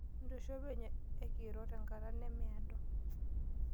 Ntosho penyo ekiro tenkata nemeado.